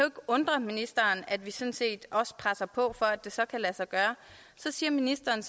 undre ministeren at vi sådan set også presser på for at det så kan lade sig gøre så siger ministeren